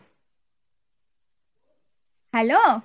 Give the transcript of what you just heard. hello